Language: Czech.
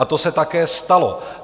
A to se také stalo.